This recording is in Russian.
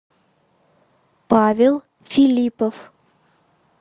павел филипов